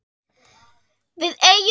Við eigum ekkert við vöruna.